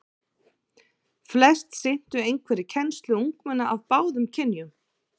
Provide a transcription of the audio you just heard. Flest sinntu einhverri kennslu ungmenna af báðum kynjum.